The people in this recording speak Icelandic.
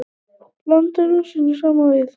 Blandið rúsínunum saman við.